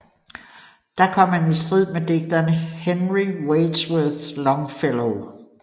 Der kom han i strid med digteren Henry Wadsworth Longfellow